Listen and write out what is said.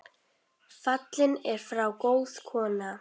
Fallin er frá góð kona.